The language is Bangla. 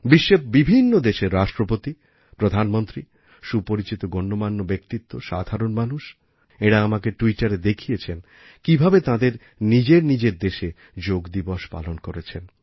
বিশ্বের বিভিন্ন দেশের রাষ্ট্রপতি প্রধানমন্ত্রী সুপরিচিত গণ্যমান্য ব্যক্তিত্ব সাধারণ মানুষ এঁরা আমাকে ট্যুইটারে দেখিয়েছেন কীভাবে তাঁদের নিজের নিজের দেশে যোগ দিবস পালন করেছেন